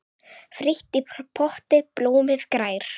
Frítt í potti blómið grær.